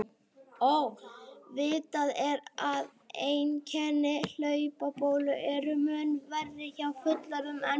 Vitað er að einkenni hlaupabólu eru mun verri hjá fullorðnum en börnum.